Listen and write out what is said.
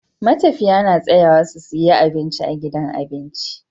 Matafiya na tsayawa su siya abinci a gidan abinci